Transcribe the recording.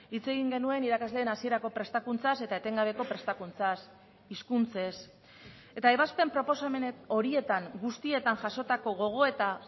hitz egin genuen irakasleen hasierako prestakuntzaz eta etengabeko prestakuntzaz hizkuntzez eta ebazpen proposamenek horietan guztietan jasotako gogoeta